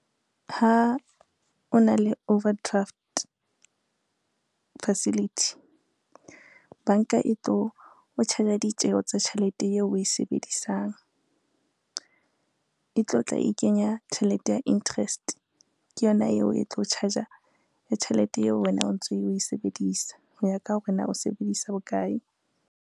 Ha o na le overdraft facility, banka e tlo o charge-a ditjeho tsa tjhelete eo o e sebedisang. E tlo tla e kenya tjhelete ya interest, ke yona eo e tlo charge-a le tjhelete eo wena o ntso o e sebedisa ho ya ka hore na o sebedisa bokae.